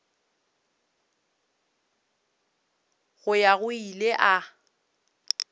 go ya go ile a